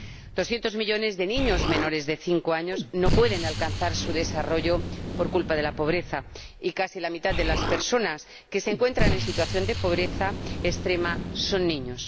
Doscientos millones de niños menores de cinco años no pueden alcanzar su desarrollo por culpa de la pobreza y casi la mitad de las personas que se encuentran en situación de pobreza extrema son niños.